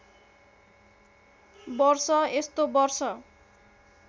वर्ष यस्तो वर्ष